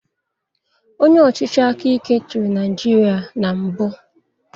Onye ọchịchị aka ike chịrị Naijiria na mbụ.